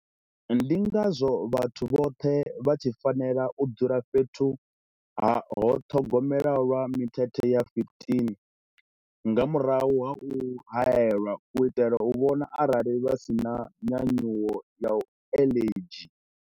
Ndingazwo vhathu vhoṱhe vha tshi fanela u dzula fhethu ha ṱhogomelo lwa mithethe ya 15 nga murahu ha u haelwa u itela u vhona arali vha si na nyanyuwo ya aḽedzhi.